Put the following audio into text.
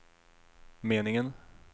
meningen